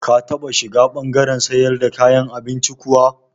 Ka taɓa shiga ɓangaren siyar da kayan abincin kuwa?